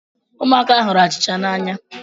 Ụmụaka hụrụ achịcha n’anya